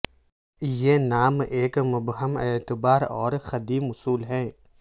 یہ نام ایک مبہم اعتبار اور قدیم اصل ہے